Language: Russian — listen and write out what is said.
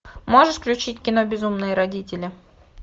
можешь включить кино безумные родители